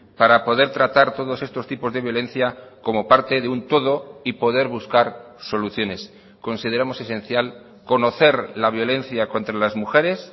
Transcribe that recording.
para poder tratar todos estos tipos de violencia como parte de un todo y poder buscar soluciones consideramos esencial conocer la violencia contra las mujeres